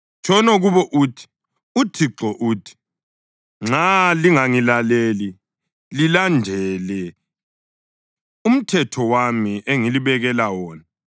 Tshono kubo uthi, ‘ UThixo uthi: Nxa lingangilaleli lilandele umthetho wami engalibekela wona,